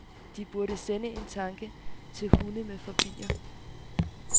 De burde sende en tanke til hunde med fobier.